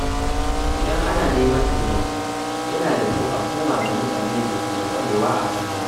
Idan ana neman taimako, yana da kyau a koma ga mutanen da ke da ƙwarewa a fannin.